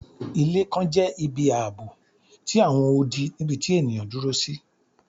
Ilé kan jẹ ibi aabo ti awọn odi nibiti eniyan duro si